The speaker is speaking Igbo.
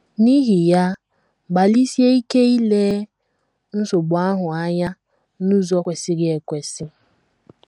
N’ihi ya, gbalịsie ike ile nsogbu ahụ anya n’ụzọ kwesịrị ekwesị.